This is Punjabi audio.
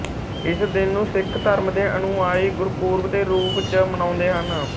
ਇਸ ਦਿਨ ਨੂੰ ਸਿੱਖ ਧਰਮ ਦੇ ਅਨੁਆਈ ਗੁਰਪੁਰਬ ਦੇ ਰੂਪ ਚ ਮਨਾਉਂਦੇ ਹਨ